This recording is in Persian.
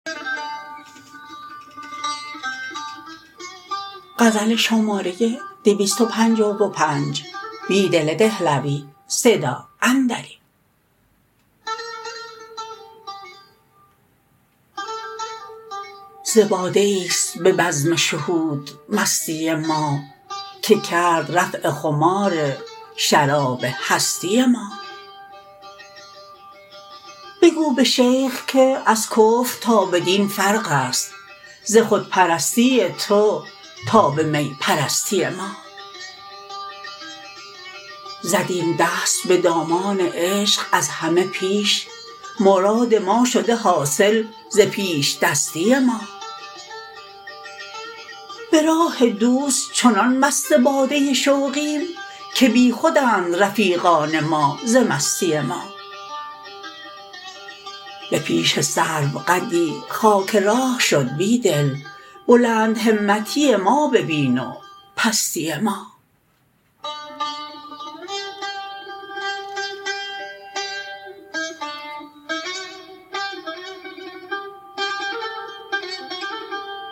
ز باده ای ست به بزم شهود مستی ما که کرد رفع خمار شراب هستی ما بگو به شیخ که از کفر تا به دین فرق است ز خودپرستی تو تا به می پرستی ما زدیم دست به دامان عشق از همه پیش مراد ما شده حاصل ز پیش دستی ما به راه دوست چنان مست باده شوقیم که بیخودند رفیقان ما ز مستی ما به پیش سرو قدی خاک راه شد بیدل بلند همتی ما ببین و پستی ما